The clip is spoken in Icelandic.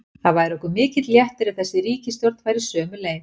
Það væri okkur mikill léttir ef þessi ríkisstjórn færi sömu leið.